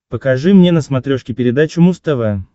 покажи мне на смотрешке передачу муз тв